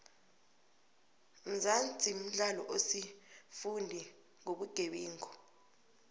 mzansi mdlalo osifundi nqobuqebenqu